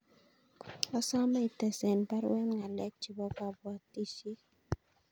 Asome ites en baruet ngalek chebo kapwatisyet